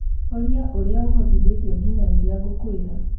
horia uria ũhotithetio nginya rĩrĩa ngũkwĩra.